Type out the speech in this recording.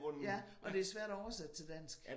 Ja og det svært at oversætte til dansk